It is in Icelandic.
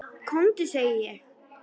KOMDU SEGI ÉG!